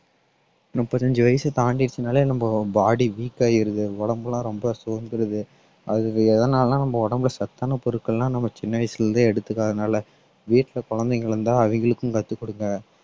முப்பத்தஞ்சு வயசு தாண்டிருச்சுன்னாலே நம்ம body weak ஆயிருது உடம்பெல்லாம் ரொம்ப சோர்ந்துருது அது எதனாலன்னா நம்ம உடம்புல சத்தான பொருட்கள்னா நம்ம சின்ன வயசுல இருந்தே எடுத்துக்காதனால வீட்ல குழந்தைங்க இருந்தா அவிங்களுக்கும் கத்துக் கொடுங்க